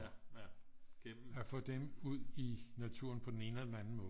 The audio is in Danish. At få dem ud i naturen på den ene eller den anden måde